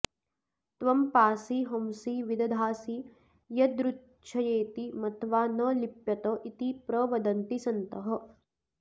त्वं पासि हंसि विदधासि यदृच्छयेति मत्वा न लिप्यत इति प्रवदन्ति सन्तः